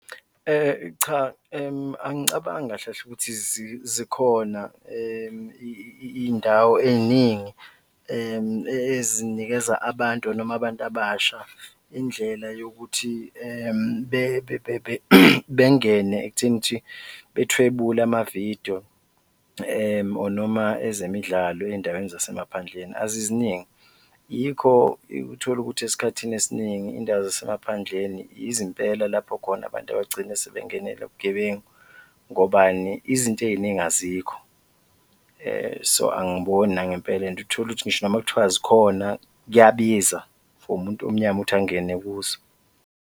Cha, angicabangi kahle kahle ukuthi zikhona iy'ndawo ey'ningi ezinikeza abantu noma abantu abasha indlela yokuthi bengene ekutheni ukuthi bethwebule ama-video or noma ezemidlalo ey'ndaweni zasemaphandleni, aziziningi. Yikho utholukuthi esikhathini esiningi iy'ndawo zasemaphandleni yizo impela lapho khona abantu bagcine sebengenelwa ubugebengu, ngobani? Izinto ey'ningi azikho, so angiboni nangempela and uthole ukuthi ngisho noma kuthiwa zikhona, kuyabiza for umuntu omnyama ukuthi angene kuzo.